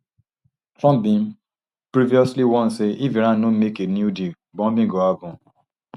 trump bin previously warn say if iran no make a new deal bombing go happun